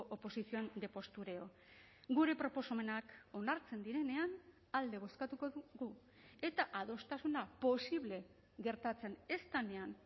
oposición de postureo gure proposamenak onartzen direnean alde bozkatuko dugu eta adostasuna posible gertatzen ez denean